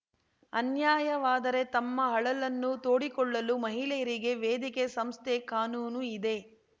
ಅನ್ಯಾಯವಾದರೆ ತಮ್ಮ ಅಳಲನ್ನು ತೋಡಿಕೊಳ್ಳಲು ಮಹಿಳೆಯರಿಗೆ ವೇದಿಕೆ ಸಂಸ್ಥೆ ಕಾನೂನು ಇದೆ